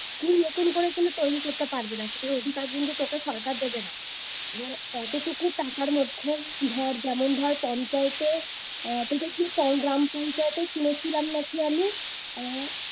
তুই নতুন করে কোন তৈরী করতে পারবি না, সেটার অধিকার কিন্তু তোকে সরকার দেবে না। এবার অতটুকু টাকার মধ্যে ধর যেমন ধর পঞ্চায়েতে আহ তোদের যে গ্রাম পঞ্চায়েতে শুনেছিলাম নাকি আমি আহ